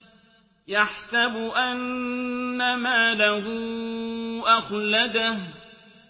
يَحْسَبُ أَنَّ مَالَهُ أَخْلَدَهُ